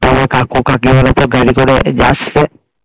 সবাই কাকু কাকিমার সব গাড়ি করে আসছে